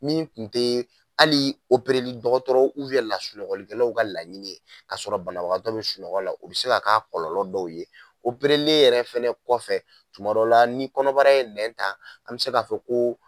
Min kun tɛ ali dɔgɔtɔrɔ lasunɔgɔkɔlikɛlaw ka laɲini ye ka sɔrɔ banabagatɔ bɛ sunɔgɔ la o bɛ se ka ka kɔlɔlɔ dɔw ye yɛrɛ fana kɔfɛ kuma dɔw la ni kɔnɔbara ye nɛn ta an bɛ se k'a fɔ ko.